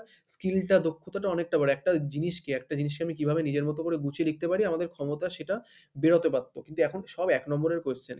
skill টা দক্ষতাটা অনেকটা বাড়ে একটা জিনিসকে একটা জিনিসকে আমি কিভাবে নিজের মতো করে গুছিয়ে লিখতে পারি আমাদের ক্ষমতা সেটা বেরোতে পারতো কিন্তু এখন সব এক number এর question।